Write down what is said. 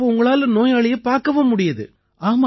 அப்ப உங்களால நோயாளியை பார்க்கவும் முடியுது